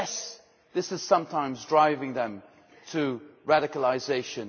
today yes, this is sometimes driving them to radicalisation